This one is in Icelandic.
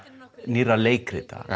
nýrra leikrita